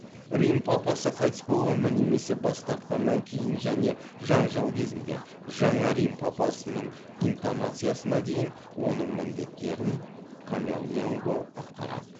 рим папасы қайтыс болғаннан немесе бас тартқаннан кейін және жанжал кезінде жаңа рим папасының интонациясына дейін оның міндеттерін камерленго атқарады